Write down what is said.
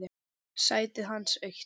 Sætið hans autt.